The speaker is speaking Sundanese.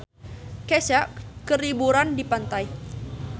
Kesha keur liburan di pantai